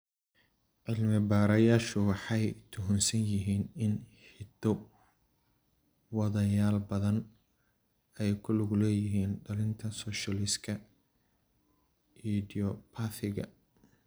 Cilmi-baarayaashu waxay tuhunsan yihiin in hiddo-wadayaal badan ay ku lug leeyihiin dhallinta scoliosiska idiopathiga.